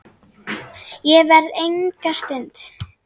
Ég verð enga stund!